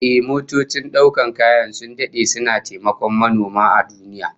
Ehh, motocin daukar kaya sun dade suna taimakon manoma a duniya